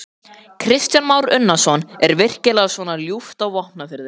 Kristján Már Unnarsson: Er virkilega svona ljúft á Vopnafirði?